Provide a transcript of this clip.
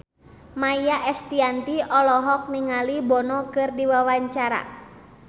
Maia Estianty olohok ningali Bono keur diwawancara